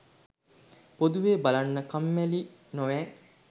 පොදුවේ බලන්න කම්මැලියි නොවැ